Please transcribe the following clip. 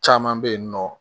Caman bɛ yen nɔ